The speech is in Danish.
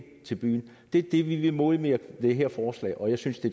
til byen det er det vi vil modvirke med det her forslag og jeg synes det